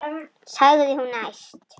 sagði hún æst.